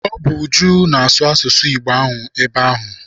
Ọ bụ Uju na-asụ asụsụ Igbo ahụ ebe ahụ.